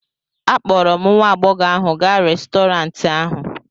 akpọrọ m nwa agbọghọ ahụ gaa Restọrantị ahụ